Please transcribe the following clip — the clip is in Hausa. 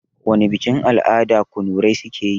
Wana bikin-al'ada kunurai suke yi?